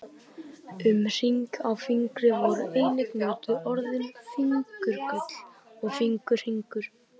Um hring á fingri voru einnig notuð orðin fingurgull og fingurhringur.